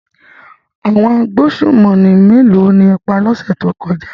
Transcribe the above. Àwọn agbésùnmọ̀mí méèló ni ẹ pa lọ́sẹ̀ tó kọjá?